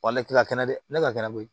Wali ti ka kɛnɛ dɛ ne ka kɛnɛ be yen